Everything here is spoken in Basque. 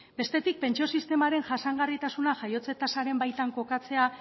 bestetik pentsio sistemaren jasangarritasuna jaiotze tasaren baitan kokatzea